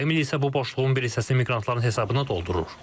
Kreml isə bu boşluğun bir hissəsini miqrantların hesabına doldurur.